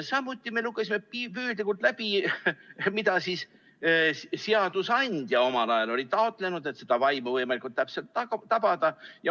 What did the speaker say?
Samuti lugesime püüdlikult läbi, mida seadusandja omal ajal oli taotlenud, et seda vaimu võimalikult täpselt tabada.